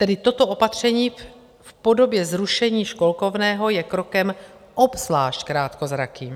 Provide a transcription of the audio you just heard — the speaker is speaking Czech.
Tedy toto opatření v podobě zrušení školkovného je krokem obzvlášť krátkozrakým.